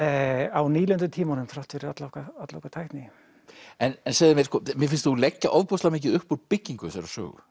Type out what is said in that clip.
á nýlendutímanum þrátt fyrir alla okkar alla okkar tækni en segðu mér mér finnst þú leggja ofboðslega mikið upp úr byggingu þessarar sögu